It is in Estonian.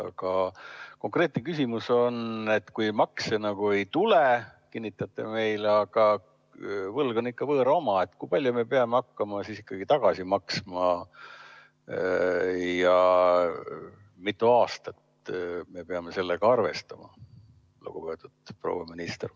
Aga konkreetne küsimus on, et kui makse ei tule, nagu te meile kinnitate, aga võlg on ikka võõra oma, siis kui palju me peame hakkama tagasi maksma ja kui mitu aastat me peame sellega arvestama, lugupeetud proua minister.